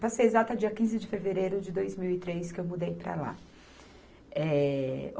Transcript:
Passei exato a dia quinze de fevereiro de dois mil e três que eu mudei para lá. Eh